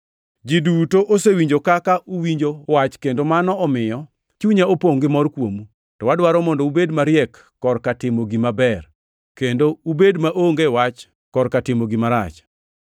Ji duto osewinjo kaka uwinjo wach kendo mano omiyo chunya opongʼ gi mor kuomu, to adwaro mondo ubed mariek korka timo gima ber, kendo ubed maonge wach korka timo gima rach.